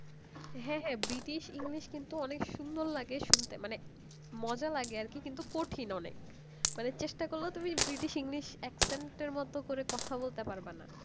হ্যাঁ হ্যাঁ British english অনেক সুন্দর লাগে শুনতে মানে মজা লাগে আরকি কিন্তু কঠিন অনেক অনেক চেষ্টা করলেও ব্রিটিশ english তুমি এক সুন্দর মতন কথা বলতে পারবা না